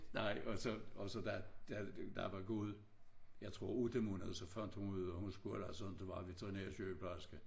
Nej og så og så da da der var gået jeg tror 8 måneder så fandt hun ud af hun skulle altså ikke være veterinærsygeplejerske